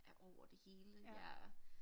Er over det hele jeg